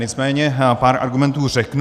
Nicméně pár argumentů řeknu.